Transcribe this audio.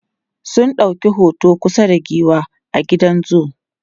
sun ɗauki hoto kusa da giwa a gidan zoo